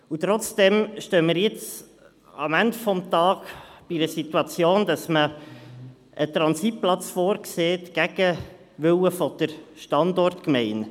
Und trotzdem stehen wir jetzt, am Ende des Tages, vor der Situation, dass man gegen den Willen der Standortgemeinde einen Transitplatz vorsieht.